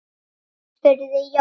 spurði Jói.